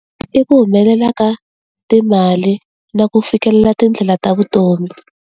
I ku humelela ka timali, na ku fikelela tindlela ta vutomi.